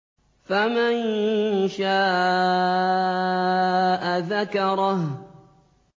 فَمَن شَاءَ ذَكَرَهُ